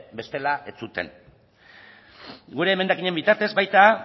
bestela ez zuten gure emendakinen bitartez baita